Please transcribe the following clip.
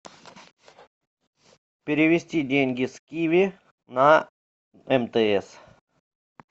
перевести деньги с киви на мтс